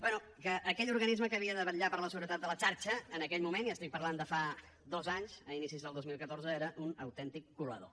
bé que aquell organisme que havia de vetllar per la seguretat de la xarxa en aquell moment i parlo de fa dos anys d’inicis del dos mil catorze era un autèntic colador